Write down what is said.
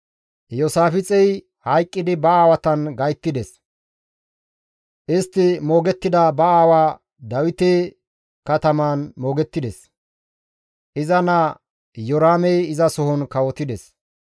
Iyoosaafixey hayqqidi ba aawatan gayttides. Istti moogettida ba aawaa Dawite katamaan moogettides. Iza naa Iyoraamey izasohon kawotides.